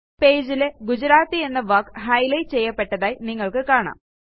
പേജിൽ ഗുജറാത്തി എന്ന വാക്ക് ഹൈലൈറ്റ് ചെയ്യപ്പെടുന്നതായി നിങ്ങൾക്ക് കാണാം